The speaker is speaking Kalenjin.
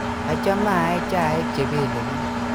Achame aee chaik che pelepich